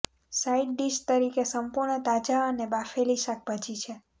side dish તરીકે સંપૂર્ણ તાજા અને બાફેલી શાકભાજી છે